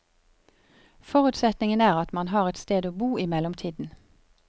Forutsetningen er at man har et sted å bo i mellomtiden.